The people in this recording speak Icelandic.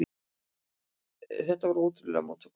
Þetta voru ótrúlegar móttökur.